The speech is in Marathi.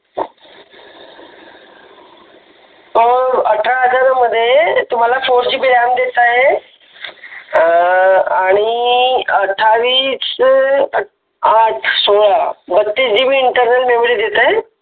अठरा हजार मध्ये तुम्हाल फोर जी बी रॅम देत आहे आणि आठावीस आठ सोळा बत्तीस जी बी इंटर्नल देत आहे.